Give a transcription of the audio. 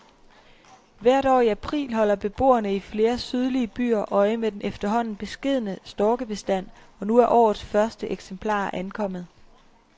Hvert år i april holder beboerne i flere sydlige byer øje med den efterhånden beskedne storkebestand, og nu er årets første eksemplarer ankommet.